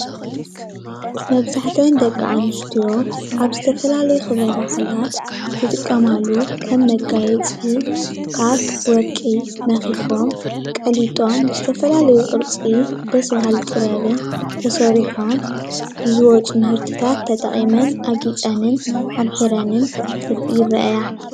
መብዛሕቲኤን ደቂ-ኣንስትዮ ኣብ ዝተፈላለዩ ክብረ በዓላት ዝጥቀመሉ ከም መጋየፂ ካብ ወርቂ መኺኾም ቀሊጦም ብዝተፈላለዩ ቅርፂ ደስ በሃሊ ጥበብን ተሰሪሖም ብዝወጹ ምህርትታት ተጠቂመን ኣጊፀንን ኣምሒረንን ይርእያ።